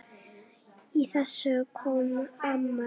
Í þessu kom amma inn.